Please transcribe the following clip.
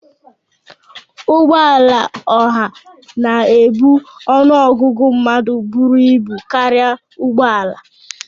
Ụgbọ ala oha na-ebu ọnụ ọgụgụ mmadụ buru ibu karịa ụgbọ ala